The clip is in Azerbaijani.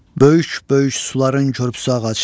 Böyük-böyük suların körpüsü ağac.